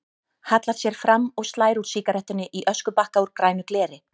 Hallar sér fram og slær úr sígarettunni í öskubakka úr grænu gleri.